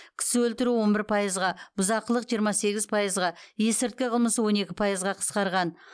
кісі өлтіру он бір пайызға бұзақылық жиырма сегіз пайызға есірткі қылмысы он екі пайызға қысқарған